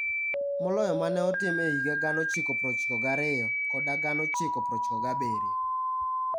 Moloyo ma ne otim e higa 1992 koda 1997.